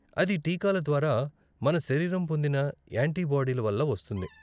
అది టీకాల ద్వారా మన శరీరం పొందిన యాంటీబాడీల వల్ల వస్తుంది.